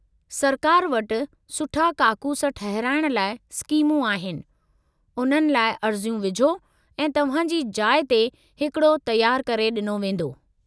सरकार वटि सुठा काकूस ठहिराइण लाइ स्कीमूं आहिनि, उन्हनि लाइ अर्ज़ियूं विझो ऐं तव्हां जी जाइ ते हिकड़ो तयारु करे डि॒नो वेंदो.